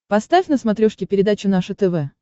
поставь на смотрешке передачу наше тв